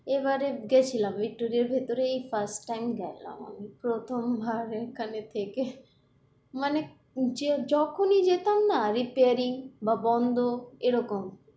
এবারে গেছিলাম ভিক্টোরিয়ার ভিতরেই এই ফার্স্ট টাইম গেলাম আমি প্রথম বার এখানে থেকে মানে যখনি যেতাম না আহ reappearing বা বন্ধ এরকম,